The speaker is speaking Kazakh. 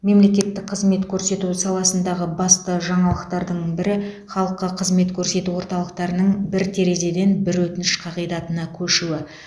мемлекеттік қызмет көрсету саласындағы басты жаңалықтардың бірі халыққа қызмет көрсету орталықтарының бір терезеден бір өтініш қағидатына көшуі